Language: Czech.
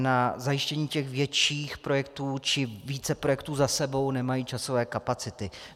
Na zajištění těch větších projektů či více projektů za sebou nemají časové kapacity.